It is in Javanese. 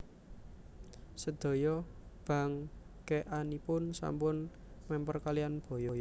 Sedaya bangkèkanipun sampun mèmper kaliyan baya